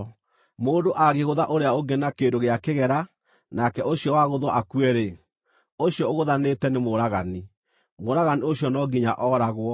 “ ‘Mũndũ angĩgũtha ũrĩa ũngĩ na kĩndũ gĩa kĩgera, nake ũcio wagũthwo akue-rĩ, ũcio ũgũthanĩte nĩ mũũragani; mũũragani ũcio no nginya ooragwo.